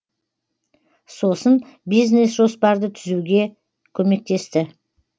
сосын бизнес жоспарды түзуге көмектесті